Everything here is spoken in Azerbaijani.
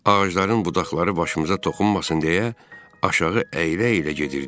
Ağacların budaqları başımıza toxunmasın deyə aşağı əyilə-əyilə gedirdik.